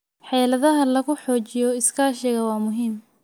Xeeladaha lagu xoojinayo iskaashiga waa muhiim.